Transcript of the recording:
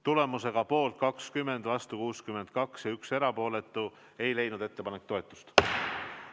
Tulemusega poolt 20, vastu 62 ja 1 erapooletu ei leidnud ettepanek toetust.